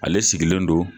Ale sigilen don